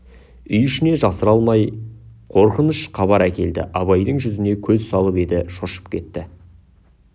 үй ішінен жасыра алмай қорқыныш хабар әкелді абайдың жүзіне көз салып еді шошып кетті